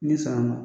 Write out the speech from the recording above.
Ni sɔn na